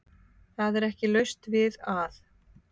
Það er ekki laust við að